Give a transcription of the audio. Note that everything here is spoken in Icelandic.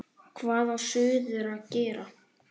Hvað á suður að gera?